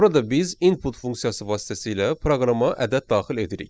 Burada biz input funksiyası vasitəsilə proqrama ədəd daxil edirik.